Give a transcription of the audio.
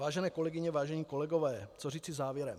Vážené kolegyně, vážení kolegové, co říci závěrem?